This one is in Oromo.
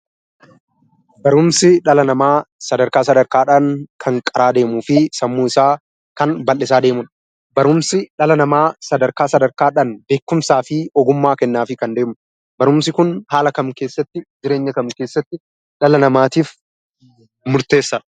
Barumsi dhala namaa sadarkaa sadarkaadhaan kan qaraa deemuufi sammuu isaa kan baldhisaa deemudha. Barumsi dhala namaa sadarkaa sadarkaadhaan ogummaa kennaaf. Barumsi kun haala kam keessatti jireenya kam keessatti dhala namaatiif murteessa?